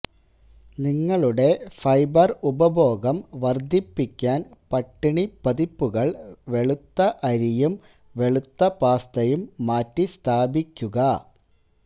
നിങ്ങളുടെ ഫൈബർ ഉപഭോഗം വർദ്ധിപ്പിക്കാൻ പട്ടിണി പതിപ്പുകൾ വെളുത്ത അരിയും വെളുത്ത പാസ്തയും മാറ്റിസ്ഥാപിക്കുക